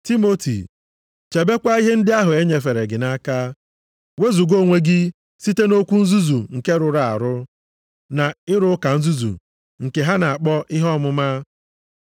Timoti chebekwa ihe ndị ahụ e nyefere gị nʼaka, wezuga onwe gị site nʼokwu nzuzu nke rụrụ arụ, na ịrụ ụka nzuzu nke ha na-akpọ ihe ọmụma,